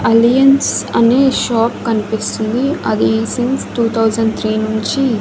alliance అనే shop కనిపిస్తుంది అది సిన్స్ టు తౌసాండ్ త్రీ నుంచి--